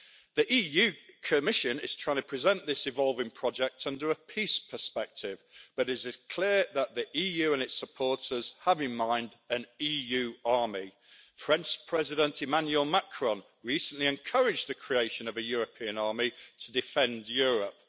The EU Commission is trying to present this evolving project under a peace perspective, but it is clear that the EU and its supporters have in mind an EU army. French President Emmanuel Macron recently encouraged the creation of a European army to defend Europe.